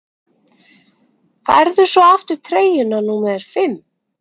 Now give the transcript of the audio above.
Færðu svo aftur treyjuna númer fimm?